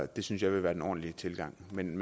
det synes jeg ville være den ordentlige tilgang men